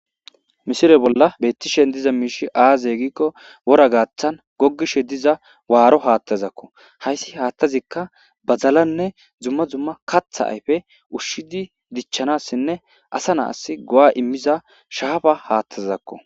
Misile bolla betishe dizay aze gidaysa gikko wora gathan gogishe diza waro hatha haysi hathezikka badalanne dumma dumma katha ayfe ushidi dichanasinne asa nasi go'a imiza shafa